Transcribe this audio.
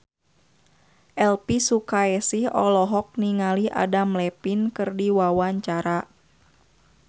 Elvi Sukaesih olohok ningali Adam Levine keur diwawancara